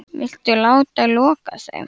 Viltu láta loka þeim?